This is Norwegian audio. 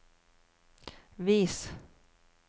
vis